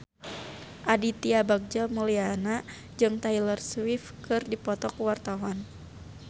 Aditya Bagja Mulyana jeung Taylor Swift keur dipoto ku wartawan